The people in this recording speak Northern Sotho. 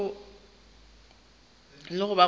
le go ba gona ga